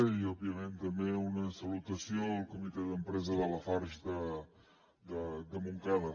i òbviament també una salutació al comitè d’empresa de lafarge de montcada